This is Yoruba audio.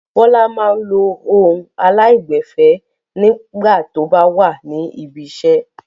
Bọ́lá máa ń lo ohùn aláìgbẹ̀fẹ̀ nígbà tó bá wà ní ibiṣẹ́.